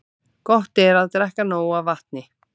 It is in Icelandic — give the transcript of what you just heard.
Gott er að drekka nóg af vatni.